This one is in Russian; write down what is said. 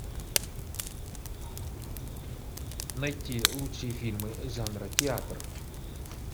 найти лучшие фильмы жанра театр